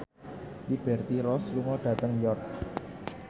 Liberty Ross lunga dhateng York